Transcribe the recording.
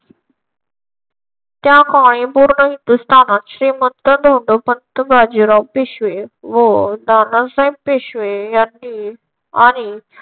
त्या काही पूर्ण हिंदुस्थानात श्रीमंत धोंडोपंत बाजीराव पेशवे व नानासाहेब पेशवे यांनी आणि